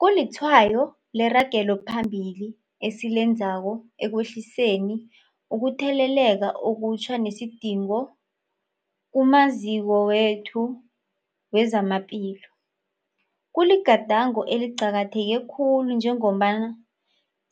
Kulitshwayo leragelo phambili esilenzako ekwehliseni ukutheleleka okutjha nesidingo kumaziko wethu wezamaphilo. Kuligadango eliqakatheke khulu njengombana